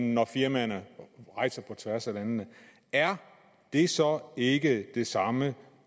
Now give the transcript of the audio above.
når firmaerne rejser på tværs af landene er det så ikke det samme